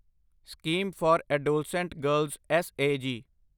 scheme for adolescent girls S A ਜੀ